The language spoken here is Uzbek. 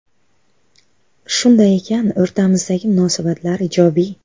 Shunday ekan, o‘rtamizdagi munosabatlar ijobiy.